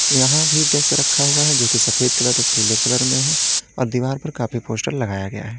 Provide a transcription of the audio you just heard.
यहां भी डेस्क रखा हुआ है जो की सफेद कलर पीले कलर में है और दीवार पर काफी पोस्ट लगाया गया है।